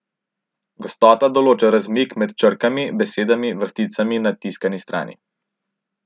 Gostota določa razmik med črkami, besedami, vrsticami na tiskani strani.